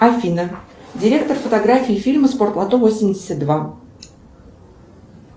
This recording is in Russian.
афина директор фотографии фильма спортлото восемьдесят два